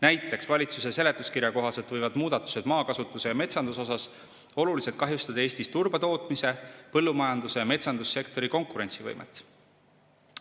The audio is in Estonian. Näiteks valitsuse seletuskirja kohaselt võivad maakasutuse ja metsanduse muudatused oluliselt kahjustada Eestis turbatootmise ning põllumajandus- ja metsandussektori konkurentsivõimet.